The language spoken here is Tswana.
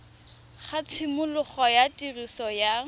ga tshimologo ya tiriso ya